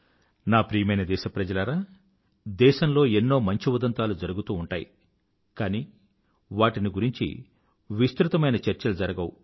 నా ప్రియమైన దేశప్రజలారా దేశంలో ఎన్నో మంచి ఉదంతాలు జరుగుతూ ఉంటాయి కానీ వాటిని గురించి విస్తృతమైన చర్చలు జరగవు